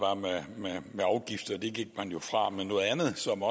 med var afgifter det gik man jo væk fra men noget andet som